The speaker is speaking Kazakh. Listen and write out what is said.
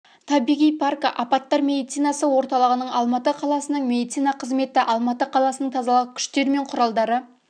табиғи паркі апаттар медицинасы орталығының алматы қаласының медицина қызметі алматы қаласының тазалық күштер мен құралдары